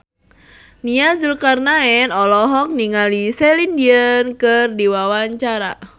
Nia Zulkarnaen olohok ningali Celine Dion keur diwawancara